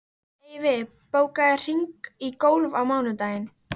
Eyfi, bókaðu hring í golf á mánudaginn.